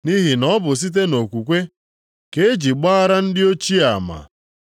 Nʼihi na ọ bụ site nʼokwukwe ka e ji gbaara ndị ochie ama.